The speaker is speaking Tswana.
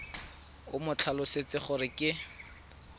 o mo tlhalosetse gore ke